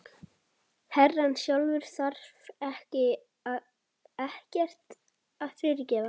Herrann sjálfur þarf ekkert að fyrirgefa.